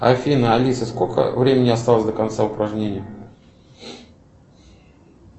афина алиса сколько времени осталось до конца упражнения